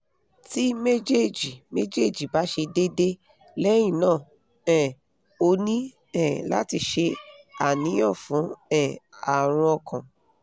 ti mejeji mejeji ba se dede lehina um o ni um lati se aniyan fun um arun okan